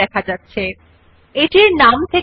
আপনি দেখতে যে নির্বাচিত টেক্সট পরিবর্তন ফন্টের